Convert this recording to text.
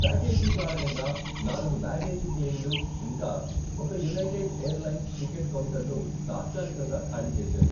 Package కారణంగా, నాలుగు baggage క్లెయిమ్లు ఇంకా ఒక యునైటెడ్ ఎయిర్లైన్స్ టికెట్ కౌంటర్ను తాత్కాలికంగా ఖాళీ చేసారు.